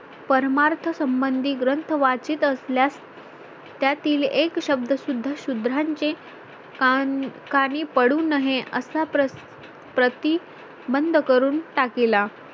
परमार्थसंबंधी ग्रंथ वाचित असल्यास त्यातील एक शब्द सुद्धा शुद्रांचे काणकानी पडू नये असा प्रति प्रतिबंध करून टाकीला